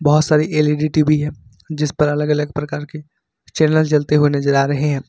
बहुत सारी L E D T V है जिस पर अलग अलग प्रकार के चैनल जलते हुए नजर आ रहे हैं।